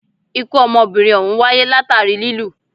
Ikú ọmọbìnrin òhún wáyé látàri lilù.